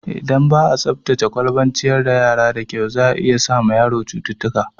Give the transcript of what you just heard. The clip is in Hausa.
Idan ba'a tsaftace kwalban ciyar da yara da kyau, zai iya sa ma yaro cututtuka